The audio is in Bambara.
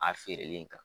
A feereli kan